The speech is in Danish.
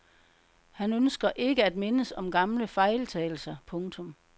Han ønsker ikke at mindes om gamle fejltagelser. punktum